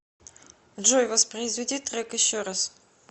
джой воспроизведи трек еще раз